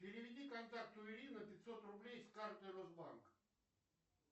переведи контакту ирина пятьсот рублей с карты росбанк